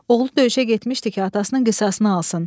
Oğlu döyüşə getmişdi ki, atasının qisasını alsın.